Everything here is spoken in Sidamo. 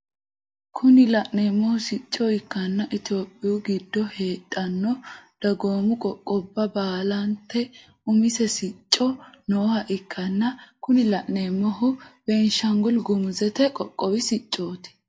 Kuni la'neemohu sicco ikkanna itophiyuu giddo heedhanno dagoomu qoqqobba baalate umise sicci nooha ikkanna kuni la'neemohu benishangul gumuuzete qoqqowi siccoti.